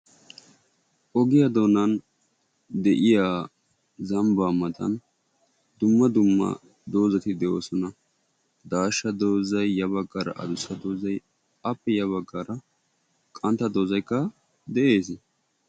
Ogiya doonan de"iya zambbaa matan dumma dumma doozati de"oosona daashsha doozayi ya baggaara adussa doozayi appe ya baggaara qantta doozaykka de"ees.